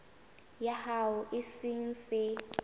ya hao e se e